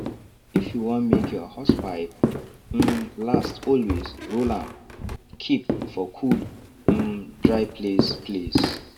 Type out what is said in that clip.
if you wan make your hosepipe um last always roll am keep for cool and um dry place place